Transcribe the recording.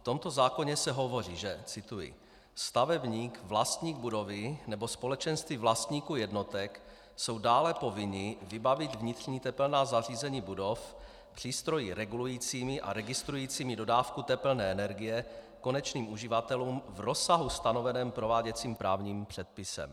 V tomto zákoně se hovoří, že - cituji: Stavebník, vlastník budovy nebo společenství vlastníků jednotek jsou dále povinni vybavit vnitřní tepelná zařízení budov přístroji regulujícími a registrujícími dodávku tepelné energie konečným uživatelům v rozsahu stanoveném prováděcím právním předpisem.